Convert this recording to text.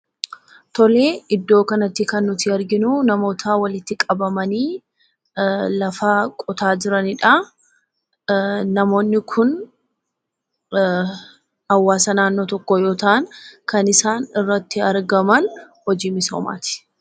Iddoo kanatti kan nuti arginu namoota walitti qabamanii lafa qotaa jiraniidha. Namoonni kun hawaasa naannoo tokkoo yoo ta'an, kan isaan irratti argaman hojii misoomaati.